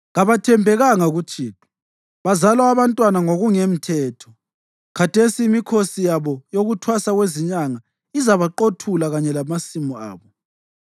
Kabathembekanga kuThixo; bazala abantwana ngokungemthetho. Khathesi imikhosi yabo yokuThwasa Kwezinyanga izabaqothula kanye lamasimu abo.